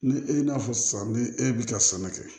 Ni e y'a fɔ sisan ni e bi ka sɛnɛ kɛ